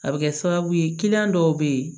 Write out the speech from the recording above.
A bɛ kɛ sababu ye dɔw bɛ yen